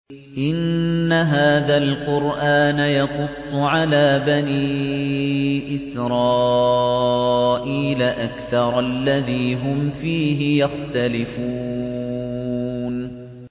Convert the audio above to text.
إِنَّ هَٰذَا الْقُرْآنَ يَقُصُّ عَلَىٰ بَنِي إِسْرَائِيلَ أَكْثَرَ الَّذِي هُمْ فِيهِ يَخْتَلِفُونَ